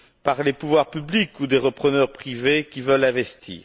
par les pouvoirs publics ou des repreneurs privés qui veulent investir.